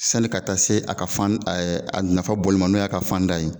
Sani ka taa se a ka fan a nafa bɔli ma n'o y'a ka fanda ye